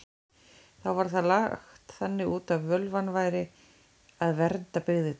Þá var það lagt þannig út að völvan væri að vernda byggðirnar.